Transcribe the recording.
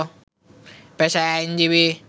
পেশায় আইনজীবী